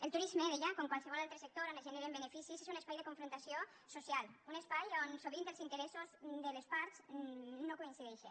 el turisme deia com qualsevol altre sector on es generen beneficis és un espai de confrontació social un espai on sovint els interessos de les parts no coincideixen